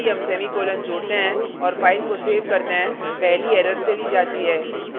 ध्यान दें कि जैसे ही हम semicolon जोडते हैं और file को सेव करते हैं पहली error चली जाती है